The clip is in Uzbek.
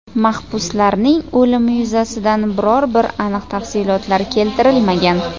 Mahbuslarning o‘limi yuzasidan biror bir aniq tafsilotlar keltirilmagan.